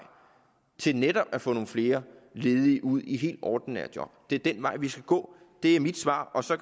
til netop at få nogle flere ledige ud i helt ordinære job det er den vej vi skal gå det er mit svar så